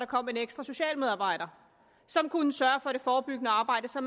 kom en ekstra socialmedarbejder som kunne sørge for det forebyggende arbejde så